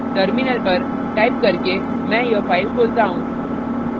terminal पर type करके मैं यह file खोलता हूँ